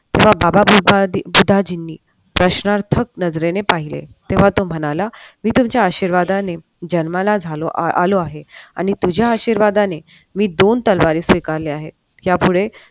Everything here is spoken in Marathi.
बाबा बुद्धाचीनी प्रश्नार्थक नजरेने पाहिले तेव्हा तो म्हणाला मी तुमच्या आशीर्वादाने जन्माला झालो आलो आहो आणि तुझ्या आशीर्वादाने मी दोन तलवारी स्वीकारलेल्या आहेत यापुढे